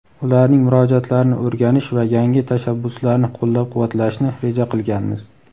ularning murojaatlarini o‘rganish va yangi tashabbuslarni qo‘llab-quvvatlashni reja qilganmiz.